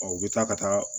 u bɛ taa ka taa